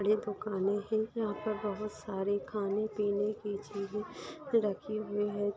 ये दुकाने है । यहां पे बहुत-सारे खाने-पीने कि चीजे रखी हुई है।